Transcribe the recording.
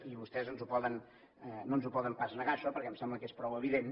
i vostès no ens ho poden pas negar això perquè em sembla que és prou evident